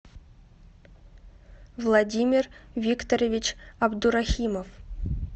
владимир викторович абдурахимов